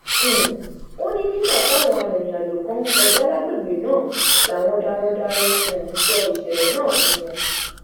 um ó ní nígbà táwọn arìnrìnàjò kan ń kọjá lágbègbè náà làwọn darandaran um sọ ìṣẹlẹ náà fún wọn